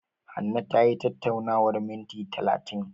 Hanne tayi tattaunawar minti talatin.